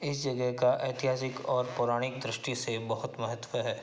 इस जगह ऐतिहासिक और पौराणिक दृष्टि से बहुत महत्त्व है।